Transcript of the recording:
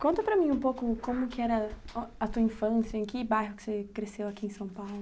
Conta para mim um pouco como que era o a tua infância, em que bairro que você cresceu aqui em São Paulo.